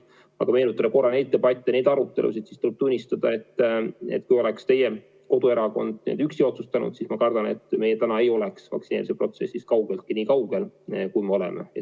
Ning kui me meenutame peetud debatte ja arutelusid, siis tuleb tunnistada, et kui oleks teie koduerakond üksi neid asju otsustanud, siis me kardetavasti ei oleks täna vaktsineerimisprotsessis kaugeltki nii kaugel, kui me oleme.